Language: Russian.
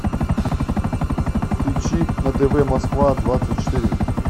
включи на тв москва двадцать четыре